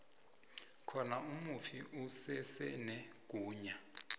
khona umufi usesenegunya